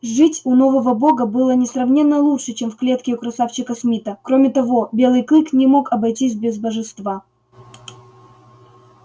жить у нового бога было несравненно лучше чем в клетке у красавчика смита кроме того белый клык не мог обойтись без божества